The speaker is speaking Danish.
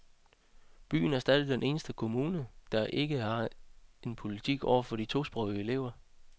Byen er stadig den eneste kommune, der ikke har en politik over for de tosprogede elever.